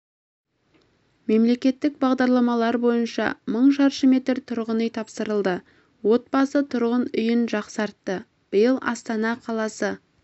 мемлекеттік бағдарламалар бойынша мың шаршы метр тұрғын үй тапсырылды отбасы тұрғын үйін жақсартты биыл астана қаласы